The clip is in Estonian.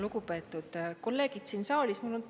Lugupeetud kolleegid siin saalis!